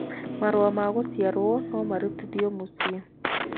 Marũa ma gũciarũo no marutithio mũciĩ.